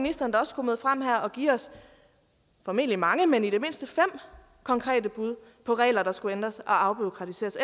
ministeren da også kunne møde frem her og give os formentlig mange men i det mindste fem konkrete bud på regler der skulle ændres og afbureaukratiseres